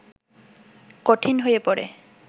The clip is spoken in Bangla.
কঠিন হয়ে পড়ে